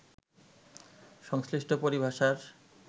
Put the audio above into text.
সংশ্লিষ্ট পরিভাষার